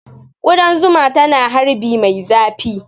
Ƙudan zuma tana harbi mai zafi